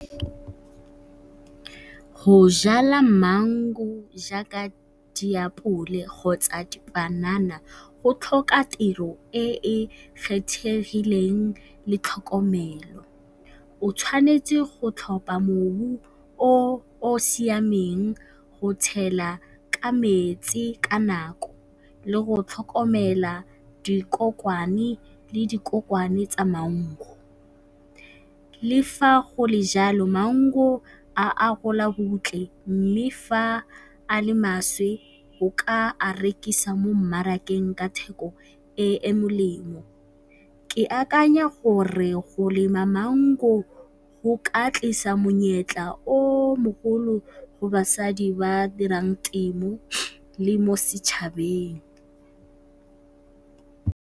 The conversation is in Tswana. Go jala maungo jaaka diapole kgotsa dipanana go tlhoka tiro e e kgethegileng le tlhokomelo. O tshwanetse go tlhopha mobu o o siameng, go tshela ka metsi ka nako, le go tlhokomela dikokwane le dikokwane tsa maungo. Le fa go le jalo maungo a gola bontle mme fa a le maswe o ka a rekisa mo mmarakeng ka theko e e molemo. Ke akanya gore go lema maungo go ka tlisa monyetla o mogolo go basadi ba dirang temo le mo setšhabeng.